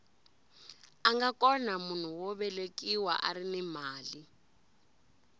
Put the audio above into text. anga kona munhu wo velekiwa arini mali